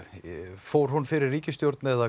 fór hún fyrir ríkisstjórn eða